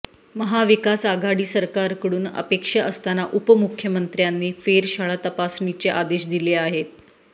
महाविकास आघाडी सरकारकडून अपेक्षा असताना उपमुख्यमंत्र्यांनी फेरशाळा तपासणीचे आदेश दिले आहेत